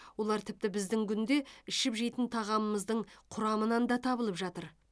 олар тіпті біздің күнде ішіп жейтін тағамымыздың құрамынан да табылып жатыр